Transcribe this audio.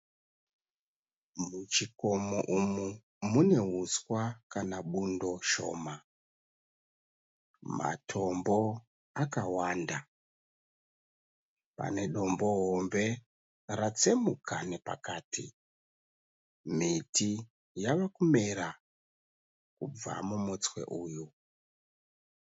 Muchikomo umu muneuswa kana bundo shoma. Matombo akawanda. Pane dombo hombe ratsemuka nepakati. Miti yava kumera kubva mumutswe uyu.